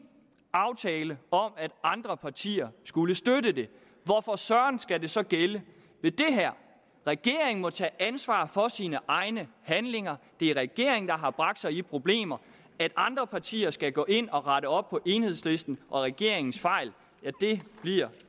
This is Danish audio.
aftale om at andre partier skulle støtte det hvorfor søren skal det så gælde ved det her regeringen må tage ansvar for sine egne handlinger det er regeringen der har bragt sig i problemer andre partier skal gå ind og rette op på enhedslistens og regeringens fejl men det bliver